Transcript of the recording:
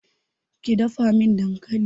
Ki dafa min dankali!